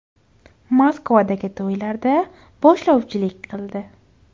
Moskvada to‘ylarda boshlovchilik qildi.